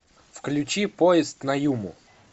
включи поезд на юму